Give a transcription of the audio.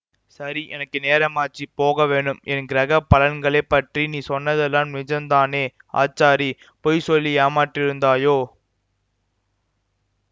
சரி எனக்கு நேரமாச்சு போகவேணும் என் கிரக பலன்களைப் பற்றி நீ சொன்னதெல்லாம் நிஜந்தானே ஆச்சாரி பொய் சொல்லி ஏமாற்றியிருந்தாயோ